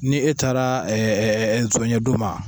Ni e taara ɛɛ zɔnɲɛ d'o ma.